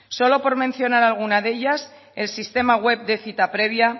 solo por mencionar alguna de ellas el sistema web de cita previa